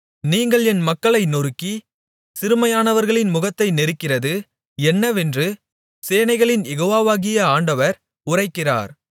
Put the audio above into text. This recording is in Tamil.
நீங்கள் என் மக்களை நொறுக்கிச் சிறுமையானவர்களின் முகத்தை நெரிக்கிறது என்னவென்று சேனைகளின் யெகோவாவாகிய ஆண்டவர் உரைக்கிறார்